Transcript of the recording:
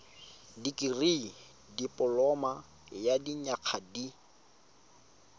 dikirii dipoloma ya dinyaga di